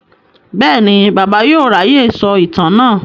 Bẹ́ẹ̀ni, Bàbá yóò ráyè sọ ìtàn náà.